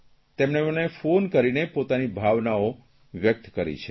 તેમણે મને ફોન કરીને પોતાની ભાવનાઓ વ્યકત કરી છે